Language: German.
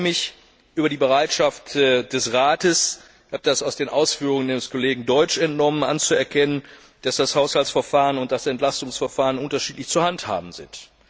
Ich freue mich über die Bereitschaft des Rates ich habe das den Ausführungen Ihres Kollegen Deutsch entnommen anzuerkennen, dass das Haushaltsverfahren und das Entlastungsverfahren unterschiedlich zu handhaben sind.